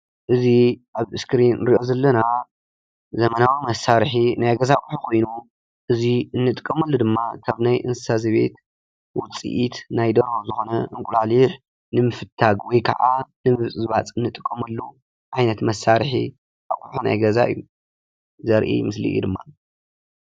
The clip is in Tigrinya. እዚ ኣብ እስክሪን ንሪኦ ዘለና ዘመናዊ መሳርሒ ናይ ገዛ ኣቑሑ ኮይኑ እዚ ንጥቀመሉ ድማ ካብ ናይ እንስሳ ዘቤት ውፅኢት ናይ ደርሆ ዝኾነ እንቊላሊሕ ንምፍታግ ወይ ከዓ ንምብፅባፅ ንጥቀመሉ ዓይነት መሳርሒ እዩ፡፡ ኣቑሑ ናይ ገዛ እዩ ዘርኢ ምስሊ እዩ፡፡